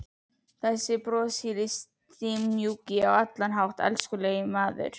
Þessi broshýri og stimamjúki og á allan hátt elskulegi maður!